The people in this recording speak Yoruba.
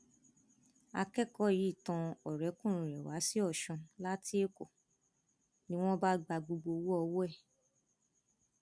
akẹkọọ yìí tan ọrẹkùnrin rẹ wá sí ọsún láti èkó ni wọn bá gba gbogbo owó ọwọ ẹ